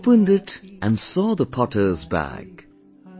Opened it and saw the potter's bag,